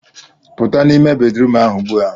Pụta n'ime bedrum ahụ ugbua